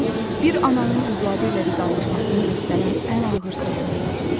Bu, bir ananın övladı ilə vidalaşmasını göstərən ən ağır səhnə idi.